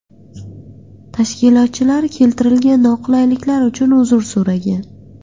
Tashkilotchilar keltirilgan noqulayliklar uchun uzr so‘ragan.